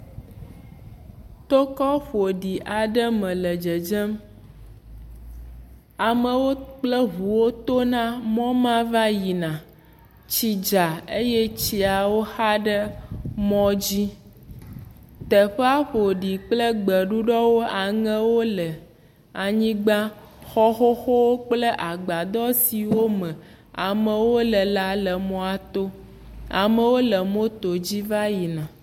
Tokɔ ƒoɖi aɖe me le dzedzem. Amewo kple ŋuwo tona mɔ ma va yina. Tsi dza eye tsiawo xa ɖe mɔ dzi. Tyeƒea ƒo ɖi kple gbeɖuɖɔwo, aŋɛwo le anyigba. Xɔ xoxowo kple agbadɔ siwo me amewo le la le mɔa to. Amewo le motodzi va yina.